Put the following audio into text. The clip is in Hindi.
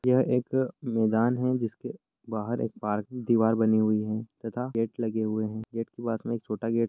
यह एक मैदान है जिसके बाहर एक पार्किंग दीवार बनी हुई है तथा गेट लगे हुए है गेट के पास में एक छोटा गेट --